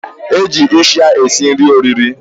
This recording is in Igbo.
Eji isha esi nri oriri.